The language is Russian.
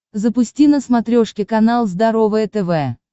запусти на смотрешке канал здоровое тв